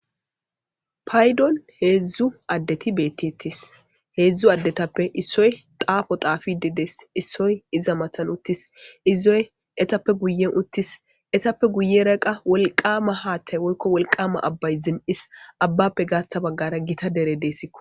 Paydon heedzdzu addeti beettetes heedzdzu addetappe issoy xaafo xaafide dees issoy iza matan uttis izoy etappe guyen uttis ethappe guyera qa wolqama haaththay woykko wolqama abbay zin7is abbappe gaaththa baggara gita dere deessikko.